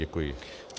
Děkuji.